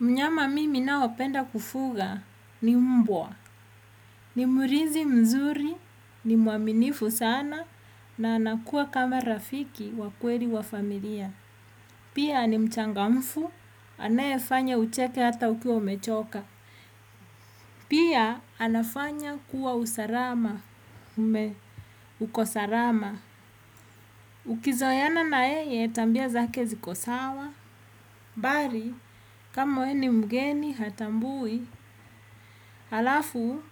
Mnyama mimi naopenda kufuga ni mbwa, ni mlinzi mzuri, ni muaminifu sana, na anakuwa kama rafiki wa kweli wa familia. Pia ni mchangamfu, anayefanya ucheke hata ukiwa umechoka. Pia anafanya kuwa usalama, uko salama. Ukizoeana na yeye, tabia zake ziko sawa. Bali kama we ni mgeni hatambui halafu